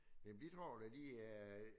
Det bidrager da lige øh